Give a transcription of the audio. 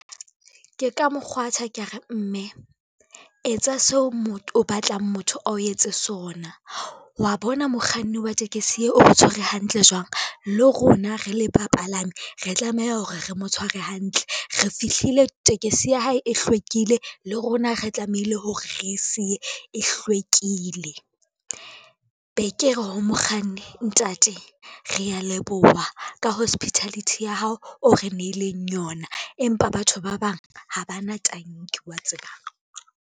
Ke ka mokgwatha ke re, mme etsa seo o batlang motho ao etse sona. Wa bona mokganni wa tekesi e o re tshwere hantle jwang, le rona re le bapalami re tlameha hore re mo tshware hantle. Re fihlile tekesi ya hae e hlwekile, le rona re tlamehile hore re siye e hlwekile. Be ke re ho mokganni, ntate rea leboha ka hospitality ya hao o re nneileng yona, empa batho ba bang ha ba na tanki wa tseba.